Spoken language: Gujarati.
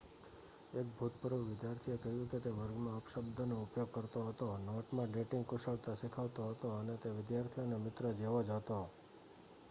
એક ભૂતપૂર્વ વિદ્યાર્થીએ કહ્યું કે તે વર્ગમાં અપશબ્દનો ઉપયોગ કરતો હતો નોટમાં ડેટિંગ કુશળતા શીખવતો હતો અને તે વિદ્યાર્થીઓના મિત્ર જેવો જ હતો.'